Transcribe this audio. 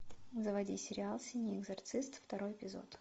заводи сериал синий экзорцист второй эпизод